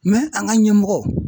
an ka ɲɛmɔgɔw